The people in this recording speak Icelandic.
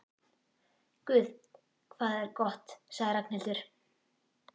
Guð hvað það er gott sagði Ragnhildur.